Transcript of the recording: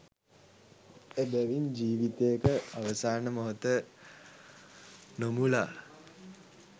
එබැවින් ජීවිතයක අවසාන මොහොත නොමුළා